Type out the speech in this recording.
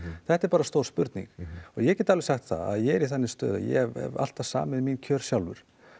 þetta er stór spurning og ég get alveg sagt það að ég er í þannig stöðu að ég hef alltaf samið um mín kjör sjálfur